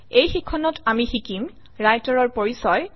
এই শিক্ষণত আমি শিকিম Writer ৰ পৰিচয়